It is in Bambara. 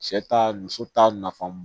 Cɛ ta muso ta nafan